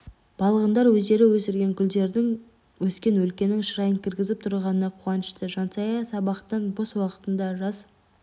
балғындар өздері өсірген гүлдердің өскен өлкенің шырайын кіргізіп тұрғанына қуанышты жансая сабақтан бос уақытында жас